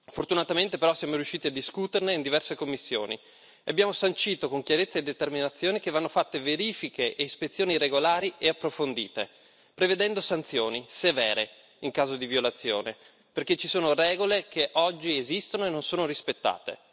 Fortunatamente, però, siamo riusciti a discuterne in diverse commissioni e abbiamo sancito con chiarezza e determinazione che vanno fatte verifiche e ispezioni regolari e approfondite, prevedendo sanzioni severe in caso di violazione, perché ci sono regole che oggi esistono e non sono rispettate.